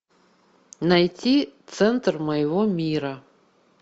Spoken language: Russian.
найти центр моего мира